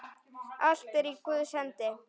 Allt er í Guðs hendi.